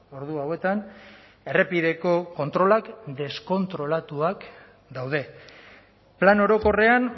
ordu hauetan errepideko kontrolak deskontrolatuak daude plan orokorrean